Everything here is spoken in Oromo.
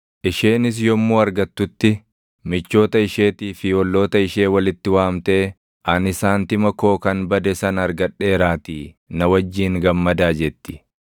Isheenis yommuu argatutti michoota isheetii fi olloota ishee walitti waamtee, ‘Ani saantima koo kan bade sana argadheeraatii na wajjin gammadaa’ jetti.